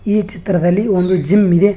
ಈ ಚಿತ್ರದಲ್ಲಿ ಒಂದು ಜಿಮ್ ಇದೆ.